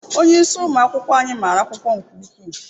Onyeisi ụmụ akwụkwọ anyị mara akwụkwọ nke ukwuu.